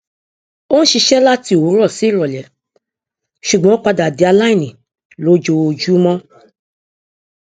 o ń ṣiṣẹ láti òwúrọ sí ìrọlẹ ṣùgbọn o padà di aláìní lójoojúmọ